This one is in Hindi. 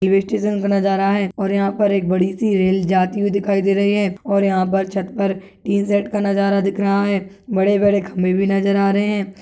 ई वो स्टेशन का नजारा है और एक यहाँ पर बड़ी सी रेल जाती हुई दिखाई दे रही है और यहाँ पर छत पर तीन सेट का नजारा दिख रहा है बड़े-बड़े खंभे भी नजर आ रहे हैं।